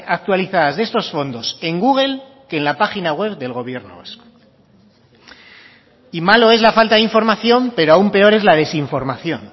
actualizadas de estos fondos en google que en la página web del gobierno vasco y malo es la falta de información pero aún peor es la desinformación